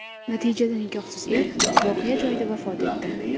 Natijada nikohsiz er voqea joyida vafot etdi.